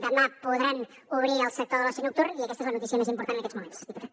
demà podran obrir el sector de l’oci nocturn i aquesta és la notícia més important en aquests moments diputat